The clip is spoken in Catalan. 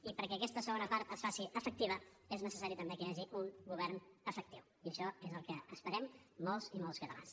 i perquè aquesta segona part es faci efectiva és necessari també que hi hagi un govern efectiu i això és el que esperem molts i molts catalans